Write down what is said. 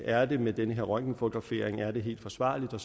er det med den røntgenfotografering er det helt forsvarligt og